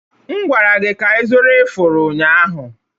M gwara gị ka ịzụrụ ifuru ụnyaahụ!